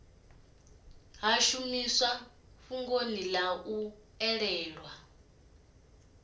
ḽi shumise fhungoni ḽaṋu ḽe